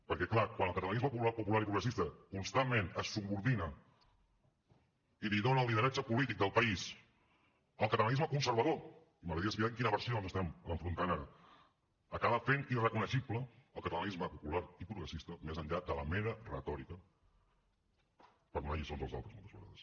perquè clar quan el catalanisme popular i progressista constantment es subordina i li dona el lideratge polític del país al catalanisme conservador i m’agradaria saber amb quina versió ens estem enfrontant ara acaba fent irreconeixible el catalanisme popular i progressista més enllà de la mera retòrica per donar lliçons als altres moltes vegades